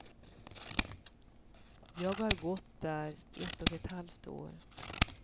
Jag har gått där ett och ett halvt år.